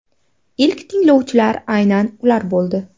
Ilk tinglovchilar aynan ular bo‘ldi.